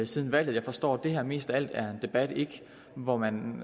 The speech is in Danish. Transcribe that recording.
siden valget jeg forstår at det her mest af alt er en debat hvor man